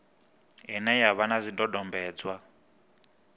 ine ya vha na zwidodombedzwa